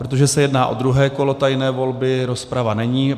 Protože se jedná o druhé kolo tajné volby, rozprava není.